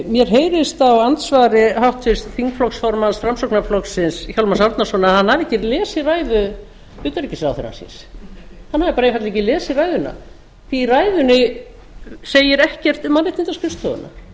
mér heyrist á andsvari háttvirts þingflokksformanns framsóknarflokksins hjálmars árnasonar að hann hafi ekki lesið ræðu utanríkisráðherra síns hann hafi bara ekki einfaldlega ekki lesið ræðuna því í ræðunni segir ekkert